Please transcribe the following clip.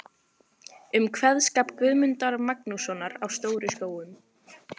um kveðskap Guðmundar Magnússonar á Stóru-Skógum.